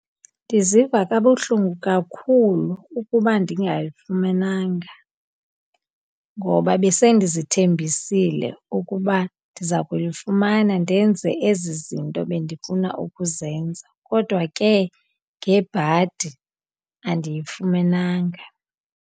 Ndiziva kabuhlungu kakhulu ukuba ndingayifumenanga ngoba besendizithembisile ukuba ndiza kuyifumana ndenze ezi zinto bendifuna ukuzenza. Kodwa ke, ngebhadi andiyifumenanga.